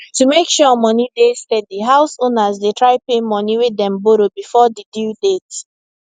to make sure money dey steady house owners dey try pay money way dem borrow before di due date